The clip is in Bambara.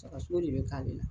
Sagasogo de bɛ k'ale la.